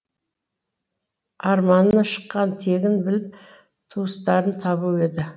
арманы шыққан тегін біліп туыстарын табу еді